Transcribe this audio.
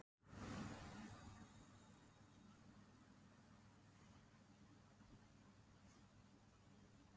Hvernig var þeim við þegar að þetta spurðist út?